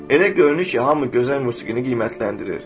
Elə görünür ki, hamı gözəl musiqini qiymətləndirir.